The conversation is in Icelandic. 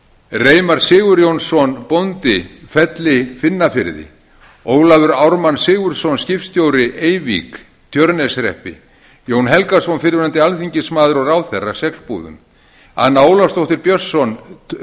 reimar sigurjónsson bóndi felli finnafirði ólafur ármann sigurðsson skipstjóri eyvík tjörneshreppi jón helgason fyrrverandi alþingismaður og ráðherra seglbúðum anna ólafsdóttir björnsson